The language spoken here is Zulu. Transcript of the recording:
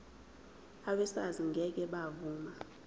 abesars ngeke bavuma